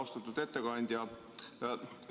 Austatud ettekandja!